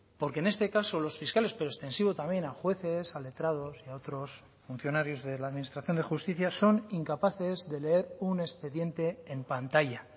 porque en este caso los fiscales pero extensivo también a jueces a letrados y a otros funcionarios de la administración de justicia son incapaces de leer un expediente en pantalla